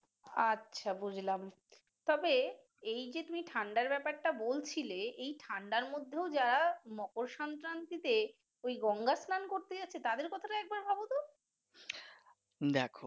আচ্ছা বুঝলাম তবে এইযে তুমি ঠাণ্ডার ব্যাপারটা বলছিলে এই ঠান্ডার মধ্যেও যারা মকর সংক্রান্তিতে ওই গঙ্গা স্লান করতে গেছে তাদের কথা একবার ভাবো তো।